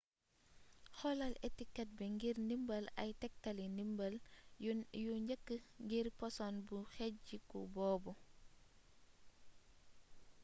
xoolal etiket bi ngir ndimbal ay tektali ndimbal yu njëkk ngir poson bu xejjiku boobu